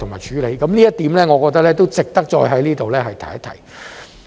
這一點我認為值得再在這裏提及。